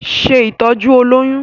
Ṣe ìtọ́jú olóyún!